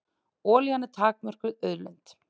Olían er takmörkuð auðlind.